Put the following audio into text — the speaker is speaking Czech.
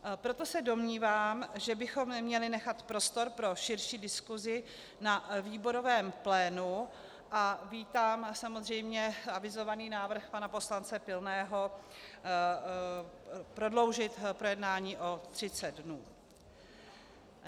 Proto se domnívám, že bychom měli nechat prostor pro širší diskusi na výborovém plénu, a vítám samozřejmě avizovaný návrh pana poslance Pilného prodloužit projednání o 30 dnů.